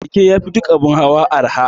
Keke yafi duk abun hawa arha